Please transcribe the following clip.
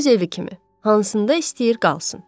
Öz evi kimi, hansında istəyir qalsın.